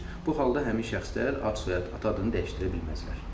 Bu halda həmin şəxslər ad-soyad, ata adını dəyişdirə bilməzlər.